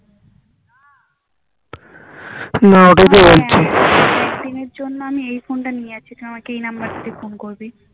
একদিনের জন্য আমি এই ফোন টা নিয়ে যাচ্ছি তুমি আমাকে এই number থেকে ফোন করবি